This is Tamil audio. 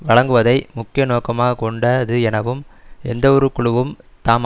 வழங்குவதை முக்கிய நோக்கமாக கொண்டது எனவும் எந்தவொரு குழுவும் தாம்